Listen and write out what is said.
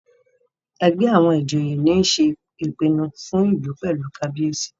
ègbé àwọn ìjòyè ní ṣe ìpinnu fún ìlú pẹlú kábíyèsí.